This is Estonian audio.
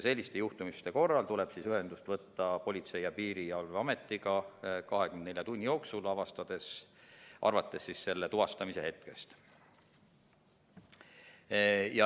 Selliste juhtumite korral tuleb ühendust võtta Politsei‑ ja Piirivalveametiga 24 tunni jooksul, arvates tuvastamise hetkest.